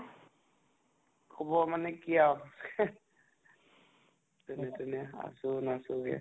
খবৰ মানে কি আৰু , যেনে তেনে আছো নাছোগে